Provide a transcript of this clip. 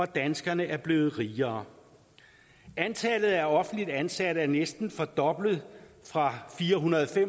danskerne er blevet rigere antallet af offentligt ansatte er næsten fordoblet fra firehundrede